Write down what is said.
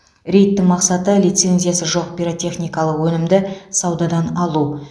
рейдтің мақсаты лицензиясы жоқ пиротехникалық өнімді саудадан алу